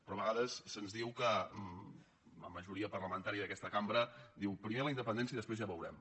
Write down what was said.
però a vegades se’ns diu que la majoria parlamentària d’aquesta cambra diu primer la independència i després ja veurem